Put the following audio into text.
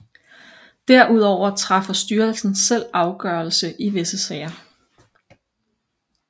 Derudover træffer styrelsen selv afgørelse i visse sager